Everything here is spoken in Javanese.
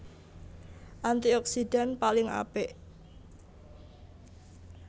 Antioksidan paling apik